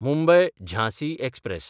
Mumbai-Jhansi express